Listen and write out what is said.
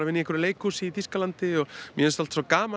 í einhverju leikhúsi í Þýskalandi og mér finnst alltaf svo gaman